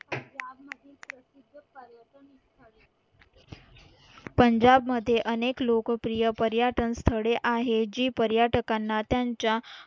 पंजाब मध्ये अनेक लोकप्रिय पर्यटन स्थळे आहे जी पर्यटकांना त्यांच्या